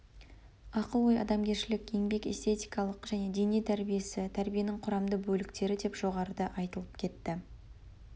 ақыл ой адамгершілік еңбек эстетикалық және дене тәрбиесі тәрбиенің құрамды бөліктері деп жоғарыда айтылып кетті